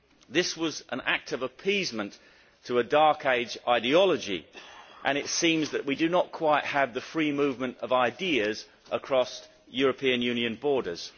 This was an act of appeasement to a Dark Age ideology and it seems that we do not quite have the free movement of ideas across European Union borders.